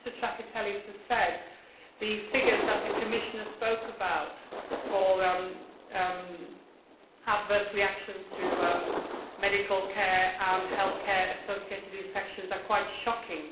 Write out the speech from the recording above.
As Mr Trakatellis said, the figures that the Commissioner spoke about, on adverse reactions to medical care and on health care associated infections, are quite shocking.